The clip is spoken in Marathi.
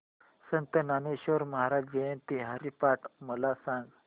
संत ज्ञानेश्वर महाराज जयंती हरिपाठ मला सांग